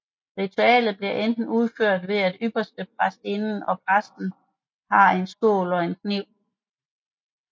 Ritualet bliver enten udført ved at ypperstepræstinden og præsten har en skål og en kniv